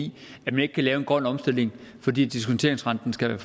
i at man ikke kan lave en grøn omstilling fordi diskonteringsrenten skal